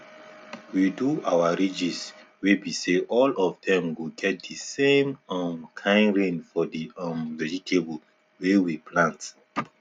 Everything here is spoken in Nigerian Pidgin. we do our ridges we be say all of them go get the same um kind rain for the um vegetable wey we plant